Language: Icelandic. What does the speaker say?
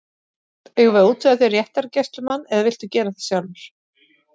Eigum við að útvega þér réttargæslumann eða viltu gera það sjálfur?